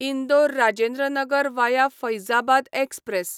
Indore Rajendra Nagar via Faizabad express